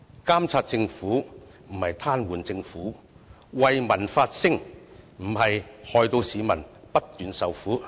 監察政府，不是癱瘓政府；為民發聲，不是害市民不斷受苦。